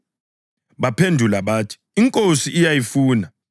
Baphendula bathi, “INkosi iyayifuna.”